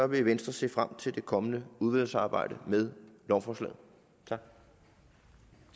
vil venstre se frem til det kommende udvalgsarbejde med lovforslaget